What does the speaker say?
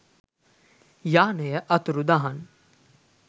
යානය අතුරුදහන්